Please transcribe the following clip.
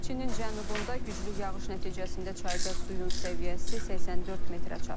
Çinin cənubunda güclü yağış nəticəsində çayda suyun səviyyəsi 84 metrə çatıb.